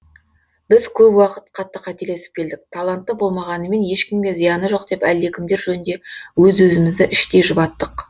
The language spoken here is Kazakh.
біз көп уақыт қатты қателесіп келдік талантты болмағанымен ешкімге зияны жоқ деп әлдекімдер жөнінде өз өзімізді іштей жұбаттық